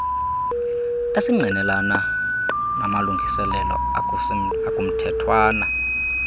esingqinelana namalungiselelo akumthethwana